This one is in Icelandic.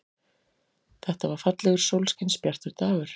Þetta var fallegur, sólskinsbjartur dagur.